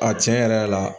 A tiɲɛ yɛrɛ la